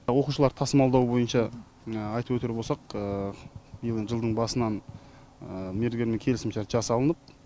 оқушыларды тасымалдау бойынша айтып өтер болсақ биылдың жылдың басынан мердігермен келісімшарт жасалынып